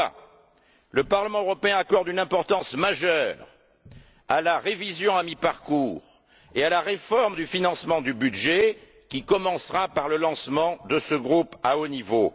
pourquoi le Parlement européen accorde une importance majeure à la révision à mi parcours et à la réforme du financement du budget qui commencera par le lancement de ce groupe à haut niveau.